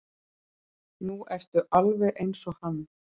Nú ertu alveg eins og hann.